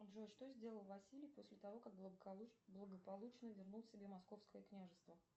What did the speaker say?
джой что сделал василий после того как благополучно вернул себе московское княжество